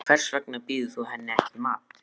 Hvers vegna býður þú henni ekki í mat.